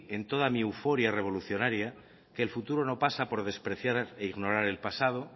en toda mi euforia revolucionaria que el futuro no pasa por despreciar e ignorar el pasado